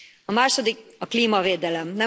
A második a klímavédelem.